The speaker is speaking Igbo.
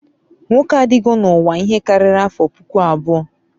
nkwo adịgo n'uwa a ihe karịrị afọ puku abụọ